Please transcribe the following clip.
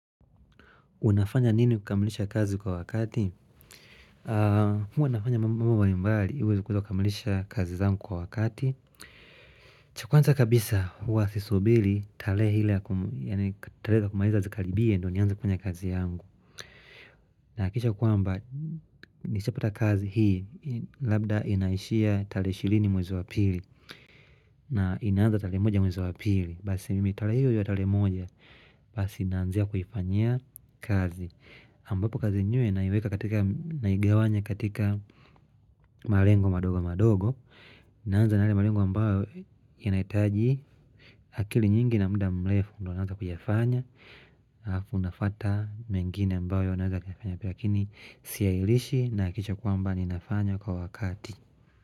Unafanya nini kukamilisha kazi kwa wakati? Huwa nafanya mambo mbali mbali uweze kukamilisha kazi zangu kwa wakati cha kwanza kabisa huwa sisubiri tarehe ile ya kumaliza zikaribie ndo nienze kufanya kazi yangu nakikisha kwamba Nishapata kazi hii labda inaishia tarehe 20 mwezi wa pili na inaaza tarehe moja mwezi wa pili Basi mimi tarehe hiyo ya tarehe moja Basi naanzia kuifanyia kazi ambapo kazi yenyewe naiweka katika naigawanya katika malengo madogo madogo naanza na yale malengo ambayo yanaitaji akili nyingi na muda mrefu ndo naanza kuyafanya halafu nafuata mengine ambayo naeza kuyafanya lakini siailishi naakikisha kwamba ninafanya kwa wakati.